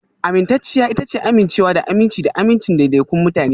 Amintacciya ita ce amincewa da aminci da amincin daidaikun mutane